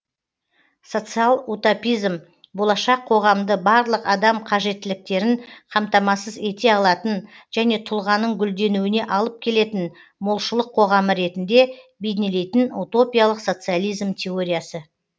социал утопизм болашақ қоғамды барлық адам қажеттіліктерін қамтамасыз ете алатын және тұлғаның гүлденуіне алып келетін молшылық қоғамы ретінде бейнелейтін утопиялық социализм теориясы